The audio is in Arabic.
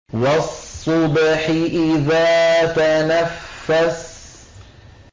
وَالصُّبْحِ إِذَا تَنَفَّسَ